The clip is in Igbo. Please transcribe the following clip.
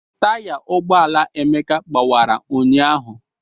Taya ụgbọala Emeka gbawara ụnyaahụ.